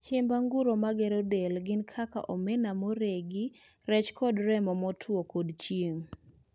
cheimb anguro magero del gin kaka mok omena moregi, rech kod remo motwo kod chieng'